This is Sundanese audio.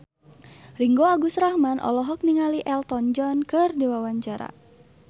Ringgo Agus Rahman olohok ningali Elton John keur diwawancara